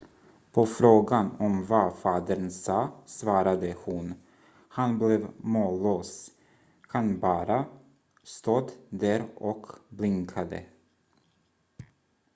"på frågan om vad fadern sa svarade hon: "han blev mållös - han bara stod där och blinkade.""